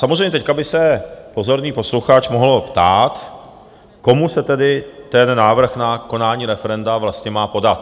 Samozřejmě teď by se pozorný posluchač mohl ptát, komu se tedy ten návrh na konání referenda vlastně má podat?